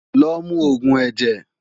Lo mu oògùn ẹ̀jẹ̀!